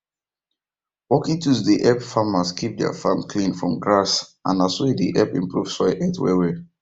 working tools dey help farmers keep their farm clean from grass and na so e dey help improve soil health wellwell